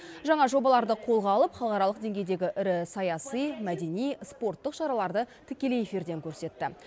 жаңа жобаларды қолға алып халықаралық деңгейдегі ірі саяси мәдени спорттық шараларды тікелей эфирден көрсетті